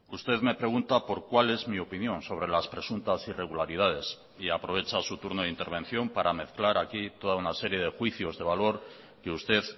usted me pregunta por cuál es mi opinión sobre las presuntas irregularidades y aprovecha su turno de intervención para mezclar aquí toda una serie de juicios de valor que usted